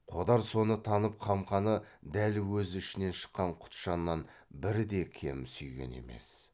қодар соны танып қамқаны дәл өз ішінен шыққан құтжаннан бірде кем сүйген емес